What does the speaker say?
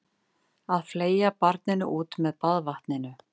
Að fleygja barninu út með baðvatninu